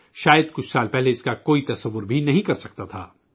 شاید کچھ برس قبل اس کا کوئی تصور بھی نہیں کر سکتا تھا